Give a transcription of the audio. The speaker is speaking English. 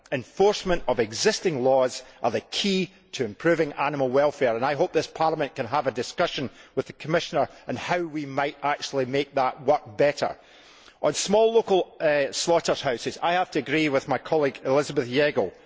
enforcement of existing laws is the key to improving animal welfare and I hope this Parliament can have a discussion with the Commissioner on how we might actually make that work better, On small local slaughterhouses, I have to agree with my colleague Elisabeth Jeggle.